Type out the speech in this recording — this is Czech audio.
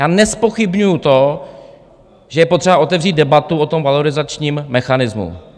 Já nezpochybňuji to, že je potřeba otevřít debatu o tom valorizačním mechanismu.